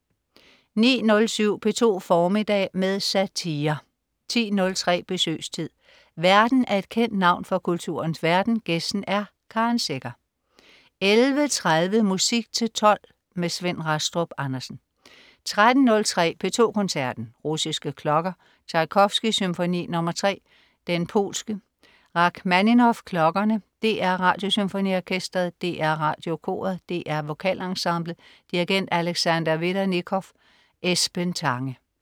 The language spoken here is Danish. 09.07 P2 formiddag med satire 10.03 Besøgstid. Værten er et kendt navn fra kulturens verden, gæsten er Karen Secher 11.30 Musik til tolv. Svend Rastrup Andersen 13.03 P2 Koncerten. Russiske klokker. Tjajkovskij: Symfoni nr. 3, Den polske. Rakhmaninov: Klokkerne. DR Radiosymfoniorkestret. DR Radiokoret. DR Vokalensemblet. Dirigent: Alexander Vedernikov. Esben Tange